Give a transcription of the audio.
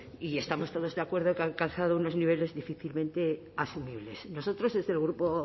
y estamos todos de acuerdo en que ha alcanzado unos niveles difícilmente asumibles nosotros desde el grupo